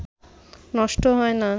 নষ্ট হয় না